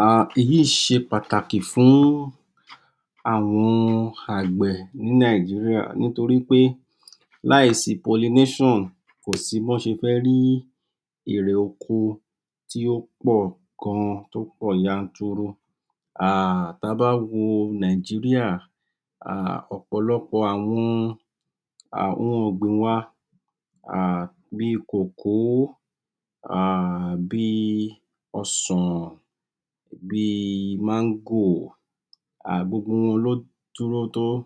um Èyíì ṣe pàtàki fún àwọn àgbẹ̀ ní Nigeria. Nítorípé láìsí pollination kò sí b'ọ́n ṣe fẹ́ rí èrè oko tí ó pọ̀ gan, tó pọ̀ yanturu. um Ta bá wo Nigeria um ọ̀pọ̀lọpọ̀ àwọn ohun ọ̀gbìn wa bíi koko cocoa um, bíi ọsàn, bíi mango um gbogbo wọn ló dúró um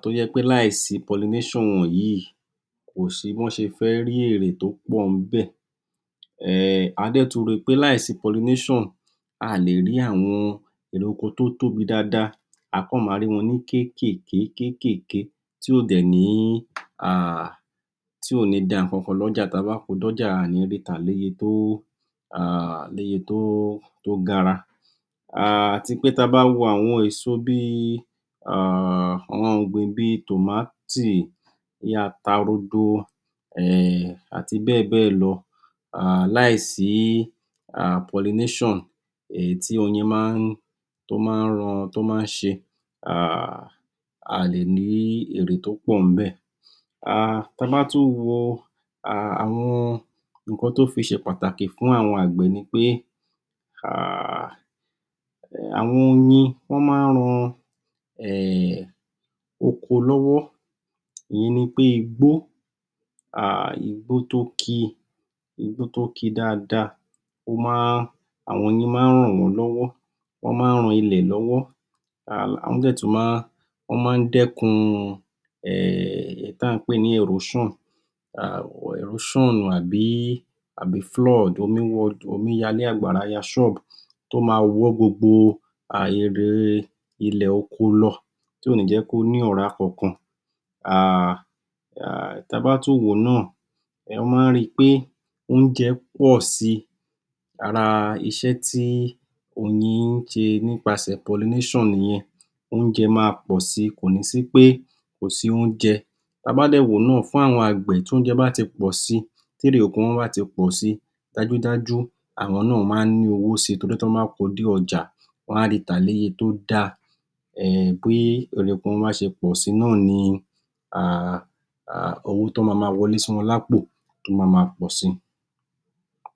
tó jẹ́ pé láìsí pollination wọ̀nyí kò sí b'ọ́n ṣe fẹ́ rí èrè tó pọ̀ níbẹ̀. um Á dẹ̀ tún ri pé láìsí pollination, aà lè rí àwọn èrè oko tó tóbi dáadáa. Á kàn ma rí wọn ní kékèké kékèké, tí ò dẹ̀ ní um da ǹkankan l'ọ́jà ta bá ko d'ọ́ja aà ní ri tà l'óye to[um] l'óye togara. um À tí pé ta bá wo àwọn eso bíi, ohun ọ̀gbìn bíi tòmátì, bíi ata rodo um àti béè lo, um láìsí pollination èyí tí oyin maá ń um tó maá ran, tó maá ṣe um Aà lè ní èrè tó pọ̀ níbẹ̀. Ta bá tún wo um àwọn ǹkan tó fi ṣe pàtàkì fún àwọn àgbẹ̀ ni pé um àwọn oyin wọ́n má ran um oko lọ́wọ́. Ìyẹn nipé igbó, um igbó tó ki dáadáa wọ́n má, àwọn oyin maá ran wọ́n lọ́wọ́, wọ́n má ran ilẹ̀ lọ́wọ́. Wọ́n dẹ̀ tún ma um dẹ́kun um èyí tí à pè ní erosion. um Erosion tabi flood, omí wọlé àgbàrá wọ shop. Tó ma wọ́ gbogbo um ilẹ̀ oko lọ, tí kò ní jẹ́ kó ní ọ̀rá kankan. um Ta bá tún wòó nà, um wọ́n má ri pé oúnjẹ pọ̀ si. Ara iṣé tí oyin ń ṣẹ nípasẹ̀ pollination nìyẹn. Oúnjẹ máa pọ̀ si. Kò ní sí pé kò sí oúnjẹ. Ta bá dẹ̀ wòó nà fún àwọn àgbẹ̀ tí oúnjẹ bá ti pọ̀ si, tí èrè oko bá ti pọ̀ si dájúdájú àwọn náà maá ní owó síi torí t'ọ́n bá ko dé ọjà wọ́n á ri tà ní eye tọ dáa. um Pé èrè oko wọn bá ṣe pọ̀sí nàni um owó tó ma ma wọle sí wọn lápọ̀ tó ma ma pọ̀ sí.